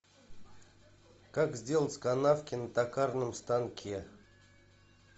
как сделать канавки на токарном станке